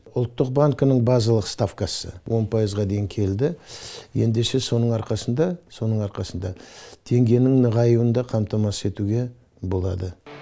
ұлттық банкінің базалық ставкасы он пайызға дейін келді ендеше соның арқасында соның арқасында теңгенің нығаюын да қамтамасыз етуге болады